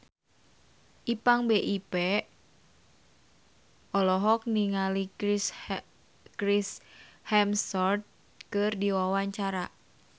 Ipank BIP olohok ningali Chris Hemsworth keur diwawancara